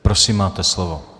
Prosím, máte slovo.